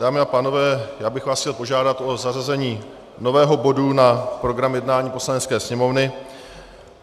Dámy a pánové, já bych vás chtěl požádat o zařazení nového bodu na program jednání Poslanecké sněmovny.